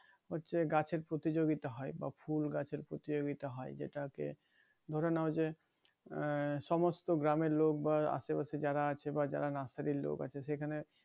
হচ্ছে গাছের প্রতিযোগিতা হয় বা ফুল গাছের প্রতিযোগিতা হয় যেটাকে ধরে নাও যে আহ সমস্ত গ্রামের লোক বা আশে পাশে যারা আছে বা যারা নার্সারির লোক আছে সেখানে